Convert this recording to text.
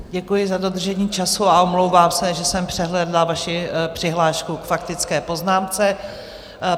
Děkuji za dodržení času a omlouvám se, že jsem přehlédla vaši přihlášku k faktické poznámce.